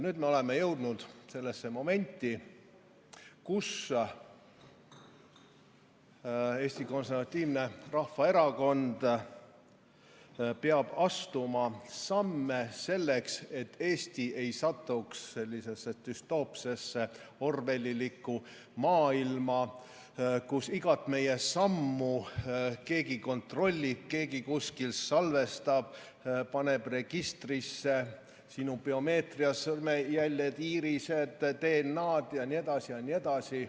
Nüüd oleme jõudnud sellesse momenti, kui Eesti Konservatiivne Rahvaerakond peab astuma samme selleks, et Eesti ei satuks sellisesse düstoopsesse orwellilikku maailma, kus igat meie sammu keegi kontrollib, keegi kuskil salvestab, paneb registrisse sinu biomeetria, sõrmejäljed, iirised, DNA‑d jne.